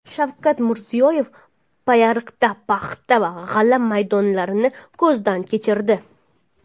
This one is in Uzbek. Shavkat Mirziyoyev Payariqda paxta va g‘alla maydonlarini ko‘zdan kechirdi.